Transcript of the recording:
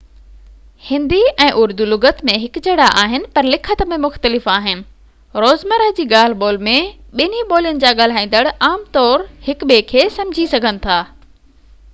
هندي ۽ اردو لُغت ۾ هڪجهڙا آهن پر لکت ۾ مختلف آهن روزمره جي ڳالهه ٻولهه ۾ ٻنهي ٻولين جا ڳالهائيندڙ عام طور هڪ ٻئي کي سمجهي سگهن ٿا